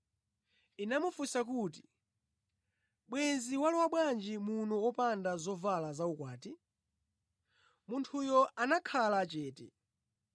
Inamufunsa kuti, ‘Bwenzi walowa bwanji muno wopanda zovala zaukwati?’ Munthuyo anakhala chete.